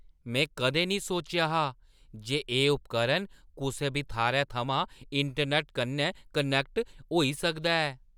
में कदें नेईं सोचेआ हा जे एह् उपकरण कुसै बी थाह्‌रै थमां इंटरनैट्ट कन्नै कनैक्ट होई सकदा ऐ।